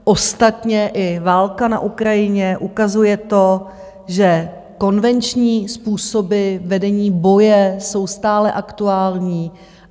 Ostatně i válka na Ukrajině ukazuje to, že konvenční způsoby vedení boje jsou stále aktuální.